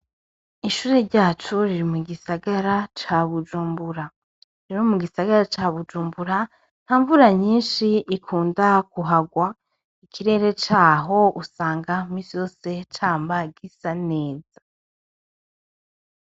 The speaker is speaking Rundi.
Ishure ryacu riri mu gisagara ca Bujumbura, rero mu gisagara ca Bujumbura nta mvura nyinshi ikunda kuhagwa, ikirere caho usanga imisi yose cama gisa neza.